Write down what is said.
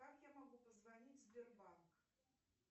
как я могу позвонить в сбербанк